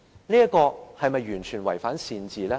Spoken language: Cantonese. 這是否完全違反善治呢？